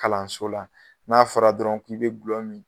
Kalanso la, n'a fɔra dɔrɔn k'i be gulɔmin